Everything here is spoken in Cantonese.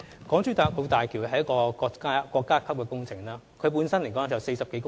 港珠澳大橋是一項國家級工程，橋身長達40多公里。